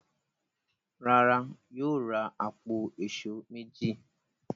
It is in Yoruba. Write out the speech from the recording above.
Rárá, Yóò ra àpò èṣó méjì.